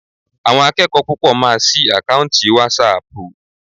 Àwọn akẹ́kọ̀ọ́ púpọ̀ máa sí àkáùntì wásaàpù.